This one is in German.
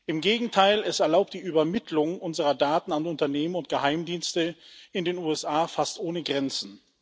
Im Gegenteil Es erlaubt die Übermittlung unserer Daten an Unternehmen und Geheimdienste in den USA fast ohne Grenzen.